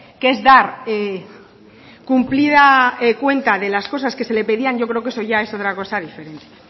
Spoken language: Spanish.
que es dar cumplida cuenta de las cosas que se le pedían yo creo que eso ya es otra cosa diferente